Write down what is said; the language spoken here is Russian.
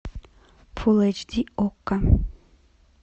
фулл эйч ди окко